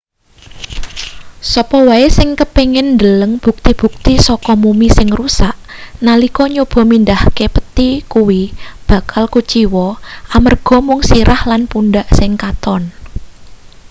sapa wae sing kepingin ndeleng bukti-bukti saka mumi sing rusak nalika nyoba mindhahke pethi kuwi bakal kuciwa amarga mung sirah lan pundhak sing katon